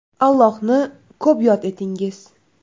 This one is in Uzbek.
Allohni ko‘p yod etingiz!